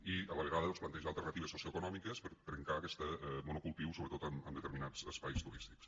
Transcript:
i a la vegada doncs plantejar alternatives socioeconòmiques per a trencar aquest monocultiu sobretot en determinats espais turístics